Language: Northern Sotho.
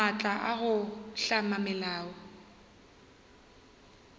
maatla a go hlama melao